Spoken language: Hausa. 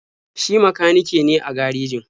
Shi makanike ne a garejin.